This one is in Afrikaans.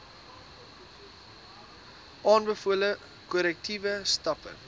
aanbevole korrektiewe stappe